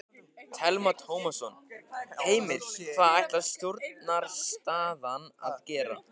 Telma Tómasson: Heimir hvað ætlar stjórnarandstaðan að gera?